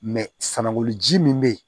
ji min bɛ ye